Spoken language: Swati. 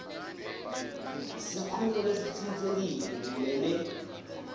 sikhungo lesitsintsekile kumele